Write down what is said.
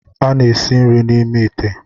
A na-esi nri n'ime ite.